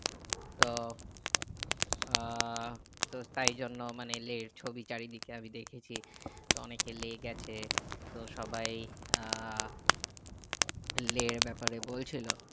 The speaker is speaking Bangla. তো আহ তো তাই জন্য মানে লে এর ছবি চারিদকে আমি দেখছি তো অনেকে লেক আছে তো সবাই আহ লে এর ব্যাপারে বলছিলো